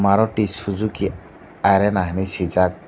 maruti suzuki arena hinui swijak.